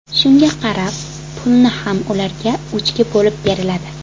Shunga qarab, pulni ham ularga uchga bo‘lib beriladi.